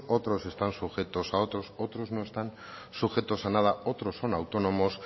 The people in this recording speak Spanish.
otros están sujetos a otros otros no están sujetos a nada otros son autónomos